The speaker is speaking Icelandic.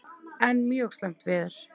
Enn mjög slæmt veður